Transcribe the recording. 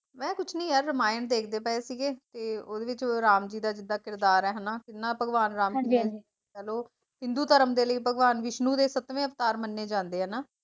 ਮੈਂ ਕੁਝ ਨਹੀਂ ਯਾਰ ਰਾਮਾਇਣ ਦੇਖਦੇ ਪਾਏ ਸੀਗੇ ਕਿ ਉਦੇ ਵਿੱਚ ਰਾਮ ਜੀ ਦਾ ਜਿਦਾ ਕਿਰਦਾਰ ਹੈ ਹਨਾ, ਕਿੰਨਾ ਭਗਵਾਨ ਰਾਮ ਜੀ ਨੇ ਕਹਿਲੋ ਹਿੰਦੂ ਧਰਮ ਦੇ ਲਈ ਭਗਵਾਨ ਵਿਸ਼ਨੂੰ ਦੇ ਸੱਤਵੇਂ ਅਵਤਾਰ ਮੰਨੇ ਜਾਂਦੇ ਹੈ, ਹਨਾ